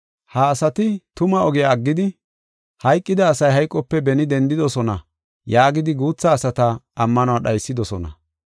Ha asati tuma ogiya aggidi, “Hayqida asay hayqope beni dendidosona” yaagidi guutha asata ammanuwa dhaysidosona.